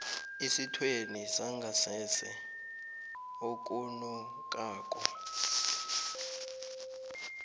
esithweni sangasese okunukako